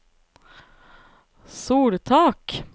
soltak